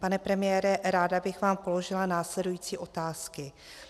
Pane premiére, ráda bych vám položila následující otázky.